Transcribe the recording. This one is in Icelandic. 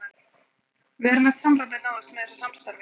Verulegt samræmi náðist með þessu samstarfi.